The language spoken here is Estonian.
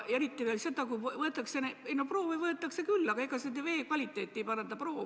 Üldiselt proove võetakse küll, aga vee kvaliteeti ei paranda ju proov.